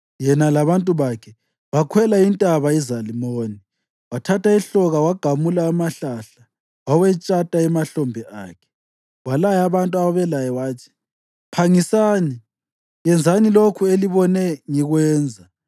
yena labantu bakhe bakhwela intaba iZalimoni. Wathatha ihloka wagamula amahlahla, wawetshata emahlombe akhe. Walaya abantu ababelaye wathi, “Phangisani! Yenzani lokhu elibone ngikwenza!”